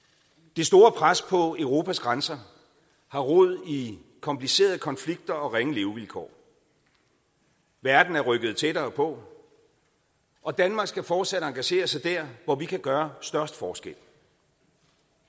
det store pres på europas grænser har rod i komplicerede konflikter og ringe levevilkår verden er rykket tættere på og danmark skal fortsat engagere sig der hvor vi kan gøre størst forskel